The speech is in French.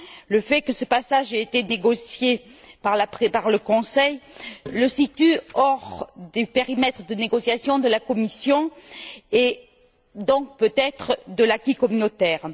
Le fait que ce passage ait été négocié par le Conseil le situe hors du périmètre de négociation de la Commission et donc, peut être, de l'acquis communautaire.